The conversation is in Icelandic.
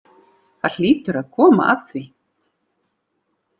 Það hlýtur að koma að því.